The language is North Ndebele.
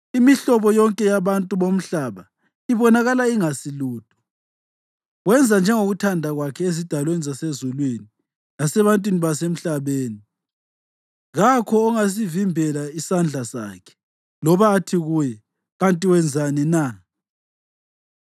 Imihlobo yonke yabantu bomhlaba ibonakala ingesilutho. Wenza njengokuthanda kwakhe ezidalweni zasezulwini lasebantwini abasemhlabeni. Kakho ongasivimbela isandla sakhe loba athi kuye: “Kanti wenzani na?”